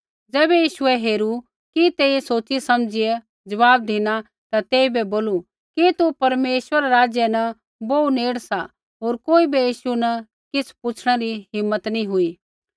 ज़ैबै यीशुऐ हेरू कि तेइयै सोच़ी समझीया ज़वाब धिना ता तेइबै बोलू कि तू परमेश्वरा रै राज्य बोहू नेड़ सा होर कोई बै यीशु न किछ़ पुछ़णै री हिम्मत नैंई हुई